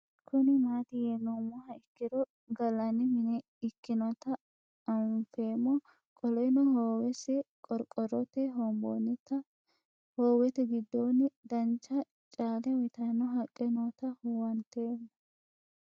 Kuni mati yinumoha ikiro galani mine ikinota anfemo qoleno Howes qorqorote hoombonitana howete gidonino dancha caale uyitano haqe noota huwantemo?